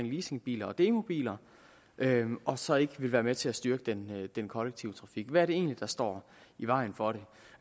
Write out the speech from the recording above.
leasingbiler og demobiler og så ikke vil være med til at styrke den den kollektive trafik hvad er det egentlig der står i vejen for det